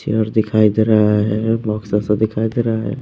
Chair दिखाई दे रहा है बॉक्स ऐसा दिखाई दे रहा है।